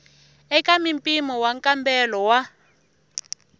eka mimpimo wa nkambelo wa